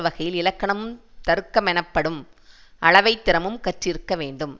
வகையில் இலக்கணமும் தருக்கமெனப்படும் அளவை திறமும் கற்றிருக்க வேண்டும்